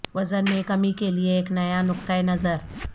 وزن میں کمی کے لئے ایک نیا نقطہ نظر